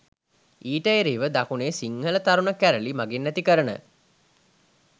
ඊට එරෙහිව දකුණේ සිංහල තරුණ කැරලි මගින් ඇති කරන